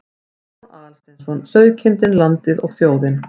Stefán Aðalsteinsson: Sauðkindin, landið og þjóðin.